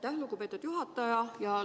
Aitäh, lugupeetud juhataja!